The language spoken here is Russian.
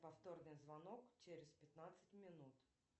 повторный звонок через пятнадцать минут